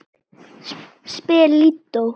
spyr Lídó.